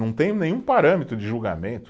Não tem nenhum parâmetro de julgamento.